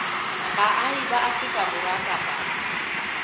baahi ba afrika borwa kapa